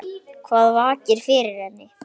Hvað vakir fyrir henni?